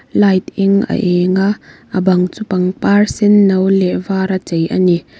light eng a eng a a bang chu pangpar senno leh var a chei a ni.